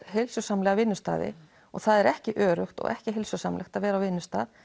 heilsusamlega vinnustaði og það er ekki öruggt og ekki heilsusamlegt að vera á vinnustað